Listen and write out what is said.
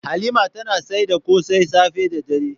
Halima tana saida kose safe da dare.